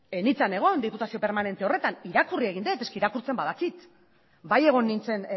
ez nintzen egon diputazio permanente horretan irakurri egin dut es ke irakurtzen badakit bai egon nintzen